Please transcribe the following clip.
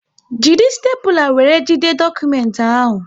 Jiri stepula wéré jide dokumenti ahụ!